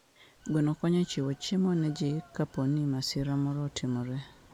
Gweno konyo e chiwo chiemo ne ji kapo ni masira moro otimore.